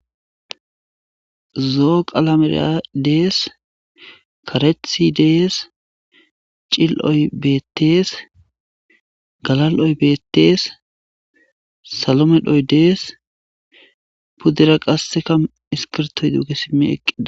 zoo qalamera dees karethi dees cil'oy beettees galal'oy betees salo medhoy dees puddura qasseka iskirtoy duuge simmi eqqides